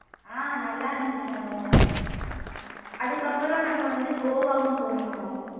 ஹம் நல்லா இருந்துச்சு அனு அதுக்கு அப்றம் நாங்க வந்து கோவாவும் போனோம் அனு